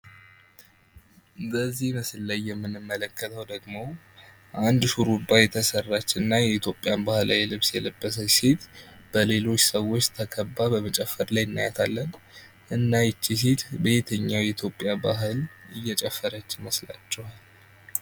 በዚህ ምስል ላይ የምንመለከትው ደግሞ አንድ ሹርባ የተስራች እና የኢትዮጵያ ባህል ልብስ የለበሠች ሴት በሊሎች ተከባ በመጭፈር ላይ ትታያለጭ። እና ይቺ ሴት በየትኛው ባህል እየጭፈርች ይመስላችሃል ?